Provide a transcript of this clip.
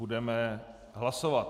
Budeme hlasovat.